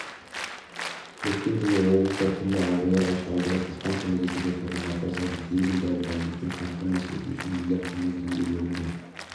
өткен жылы облыста түрлі ауруға шалдығып диспансерлік есепте тұрған науқастарды тегін дәрі-дәрмекпен қамтамасыз ету үшін миллиард миллион теңге бөлінген